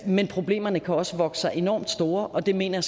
men problemerne kan også vokse sig enormt store og det mener